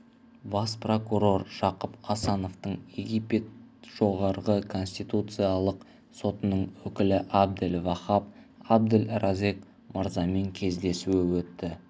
бас прокурор жақып асановтың египет жоғарғы конституциялық сотының өкілі абдель вахаб абдель разек мырзамен кездесуі өтті